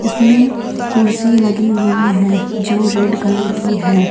इसमें कुर्सी लगी हुई है जो रेड कलर की है।